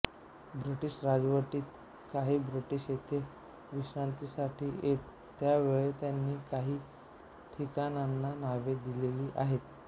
British राजवटीत कांही British येथे विश्रांतीसाठी येत त्यावेळी त्यांनी कांही ठिकाणांना नावे दिलेली आहेत